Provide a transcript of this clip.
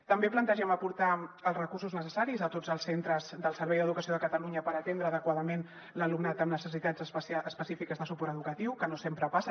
també plantegem aportar els recursos necessaris a tots els centres del servei d’educació de catalunya per atendre adequadament l’alumnat amb necessitats específiques de suport educatiu que no sempre passa